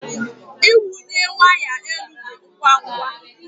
Ịwụnye waya elu dị ngwa ngwa.